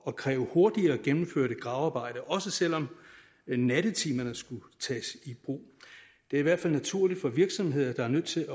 at kræve hurtigere gennemførte gravearbejder også selv om nattetimerne skulle tages i brug det er i hvert fald naturligt for virksomheder der er nødt til